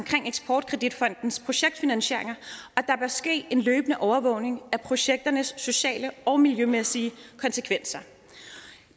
eksportkreditfondens projektfinansieringer og ske en løbende overvågning af projekternes sociale og miljømæssige konsekvenser